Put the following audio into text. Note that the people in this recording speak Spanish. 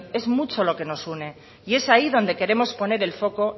es mucho lo que nos une y es ahí donde queremos poner el foco